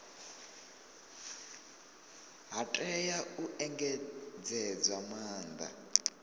ha tea u engedzedzwa maanda